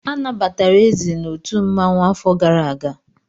Anabatara Eze n'otu mmanwụ afọ gara aga.